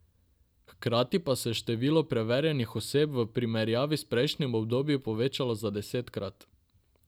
Hkrati pa se je število preverjanih oseb v primerjavi s prejšnjimi obdobji povečalo za desetkrat.